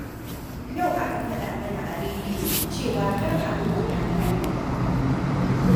Yau aka faɗa mana a rediyo cewa kar a bi wannan hanyar